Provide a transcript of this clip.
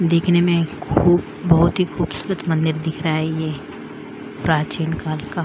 देखने में खूब बहुत ही खूबसूरत मंदिर दिख रहा है ये प्राचीन काल का --